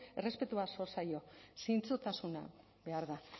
errespetua zor zaio zintzotasuna behar da